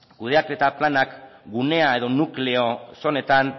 kudeaketa planak gunea edo nukleo zonetan